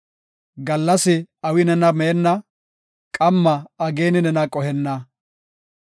Gallas awi nena meenna; qamma ageeni nena qohenna.